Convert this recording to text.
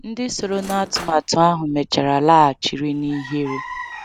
Ndị sonyere n’atụmatụ ahụ mechara laghachiri na ihere.